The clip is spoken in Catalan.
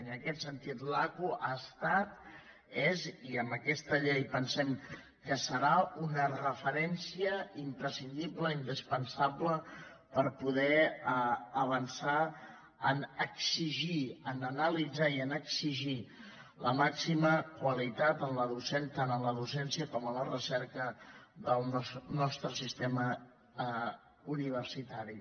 en aquest sentit l’aqu ha estat és i amb aquesta llei pensem que ho serà una referència imprescindible indispensable per poder avançar a exigir a analitzar i a exigir la màxima qualitat tant en la docència com en la recerca del nostre sistema universitari